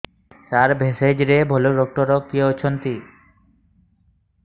ସାର ଭେଷଜର ଭଲ ଡକ୍ଟର କିଏ ଅଛନ୍ତି